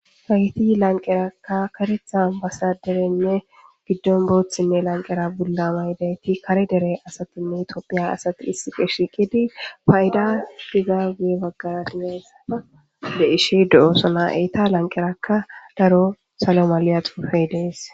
hayti lanqerakka karetha basa derenne giddon booththinne lanqera bulla mayidayti kare dere asatinne itoophiya asati issi qe shiqidi fayida giza gee baggarati hayssaa de ishi do7osona eeta lanqerakka daro salo maliya xuufey dees